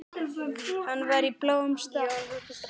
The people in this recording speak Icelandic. Hann var í bláum stakk.